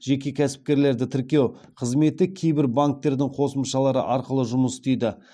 жеке кәсіпкерлерді тіркеу қызметі кейбір банктердің қосымшалары арқылы жұмыс істейді